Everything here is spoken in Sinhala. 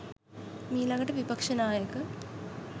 මීලඟට විපක්‍ෂනායක